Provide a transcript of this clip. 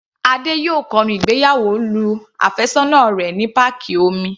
Adé yóò kọnu ìgbéyàwó lu àfẹ́sọ́nà rẹ̀ ní páàkì omi.